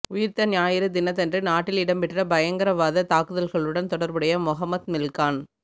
உயிர்த்த ஞாயிறு தினதன்று நாட்டில் இடம்பெற்ற பயங்கரவாத தாக்குதல்களுடன் தொடர்புடைய மொஹமட் மில்ஹான்